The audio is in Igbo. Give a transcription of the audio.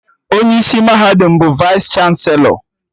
Onye isi mahadum bụ Vaịs chanselọ